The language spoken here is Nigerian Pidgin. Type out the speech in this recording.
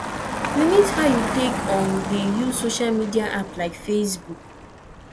limit how you take um dey use social media app like facebook